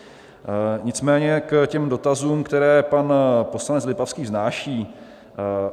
Nicméně k těm dotazům, které pan poslanec Lipavský vznáší.